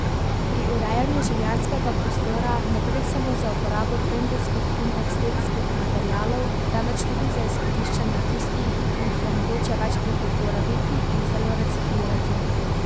Pri urejanju življenjskega prostora ne gre samo za uporabo trendovskih in estetskih materialov, temveč tudi za izkoriščanje tistih, ki jih je mogoče večkrat uporabiti in celo reciklirati.